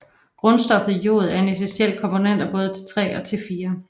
Grundstoffet jod er en essentiel komponent af både T3 og T4